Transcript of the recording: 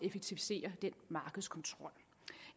effektivisere den markedskontrol